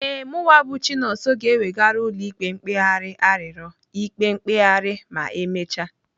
Ee, mụwa bụ Chinonso ga-ewegara ụlọ ikpe mkpegharị arịrịọ ikpe mkpegharị ma emecha.